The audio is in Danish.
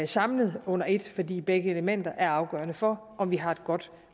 samlet under ét fordi begge elementer er afgørende for om vi har et godt